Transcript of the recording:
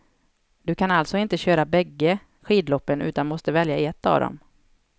Du kan allstå inte köra bägge skidloppen utan måste välja ett av dem.